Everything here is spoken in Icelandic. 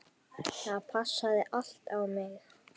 Það passaði allt á mig.